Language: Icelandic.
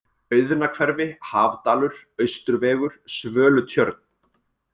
Auðnahverfi, Hafdalur, Austurvegur, Svölutjörn